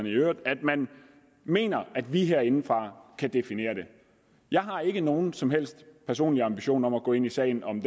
i øvrigt at man mener at vi herindefra kan definere det jeg har ikke nogen som helst personlige ambitioner om at gå ind i sagen om